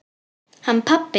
Hann pabbi?